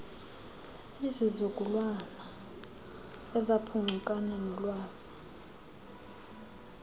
isizukulwana esaphuncukana noolwazi